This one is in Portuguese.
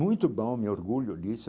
Muito bom, me orgulho disso.